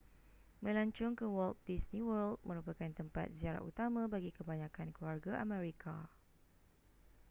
melancong ke walt disney world merupakan tempat ziarah utama bagi kebanyakan keluarga amerika